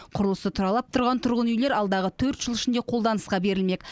құрылысы тұралап тұрған тұрғын үйлер алдағы төрт жыл ішінде қолданысқа берілмек